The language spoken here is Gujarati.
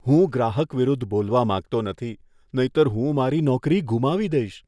હું ગ્રાહક વિરુદ્ધ બોલવા માંગતો નથી, નહીંતર હું મારી નોકરી ગુમાવી દઈશ.